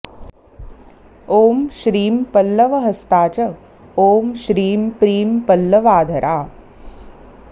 ॐ श्रीं पल्लवहस्ता च ॐ श्रीं प्रीं पल्लवाधरा